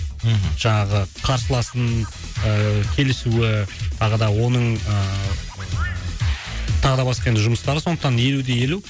мхм жаңағы қарсыласының ыыы келісуі тағы да оның ыыы тағы да басқа енді жұмыстары сондықтан елу де елу